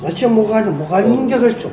зачем мұғалім мұғалімнің де қажеті жоқ